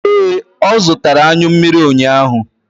Ee, ọ zụtara anyụ mmiri ụnyaahụ.